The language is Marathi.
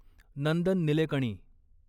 नंदन निलेकणी